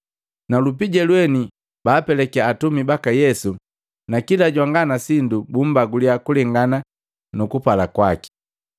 na lupija lweni baapelakiya atumi baka Yesu na kila jwanga na sindu bumbaguliya kulengana nukupala kwaki.